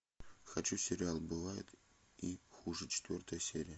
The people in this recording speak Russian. хочу сериал бывает и хуже четвертая серия